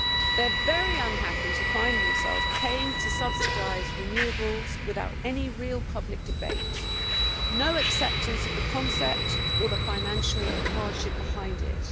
They are very unhappy to find themselves paying to subsidise renewables without any real public debate no acceptance of the concept or the financial hardship behind it.